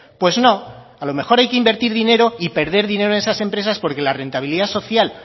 pues no a lo mejor hay que invertir dinero y perder dinero en esas empresas porque la rentabilidad social